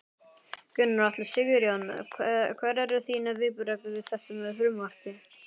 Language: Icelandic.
Gunnar Atli: Sigurjón, hver eru þín viðbrögð við þessu frumvarpi?